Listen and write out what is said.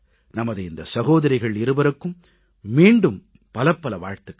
நமது இந்த சகோதரிகள் இருவருக்கும் மீண்டும் பலபல வாழ்த்துகள்